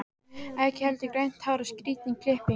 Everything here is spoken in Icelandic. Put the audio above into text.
Ekki heldur grænt hár og skrýtin klipping.